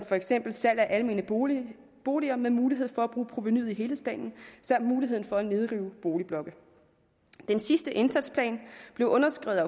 for eksempel salg af almene boliger boliger med mulighed for at bruge provenuet i helhedsplanen samt muligheden for at nedrive boligblokke den sidste indsatsplan blev underskrevet